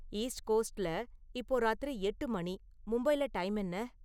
East கோஸ்ட்ல இப்போ ராத்திரி எட்டு மணி மும்பைல டைம் என்ன?